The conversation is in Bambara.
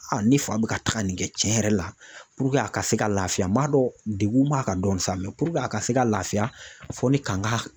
Aa ni fa be ka taga nin kɛ cɛn yɛrɛ la puruke a ka se ka lafiya n b'a dɔn degun b'a kan dɔɔni sa mɛ puruke a ka se ka lafiya fɔ ni kanga